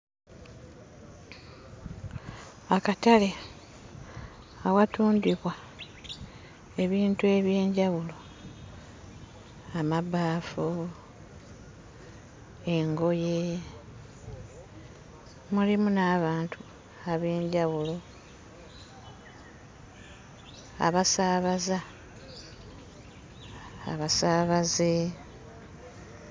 Akatale awatundirwa ebintu eby'enjawulo, amabaafu, engoye, mulimu n'abantu ab'enjawulo abasaabaza abasaabaze.